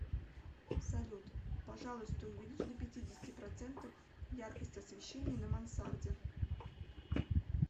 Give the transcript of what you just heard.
салют пожалуйста увеличь до пятидесяти процентов яркость освещения на мансарде